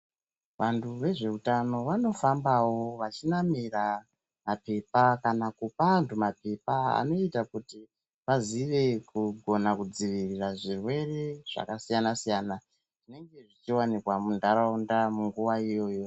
Vanhu vezveutano vanofambawo vachinamira maphepha kana kupa anthu maphepha anoita kuti vazive kugona kudzivirira zvirwere zvakasiyana- siyana ,zvinenge zvichiwanikwa munharaunda munguva iyoyo.